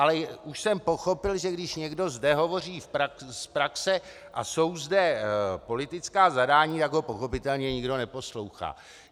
Ale už jsem pochopil, že když někdo zde hovoří z praxe a jsou zde politická zadání, tak ho pochopitelně nikdo neposlouchá.